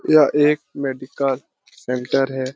यह एक medical centre है।